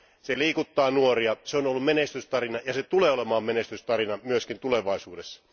Se liikuttaa nuoria, se on ollut menestystarina ja se tulee olemaan menestystarina myös tulevaisuudessa.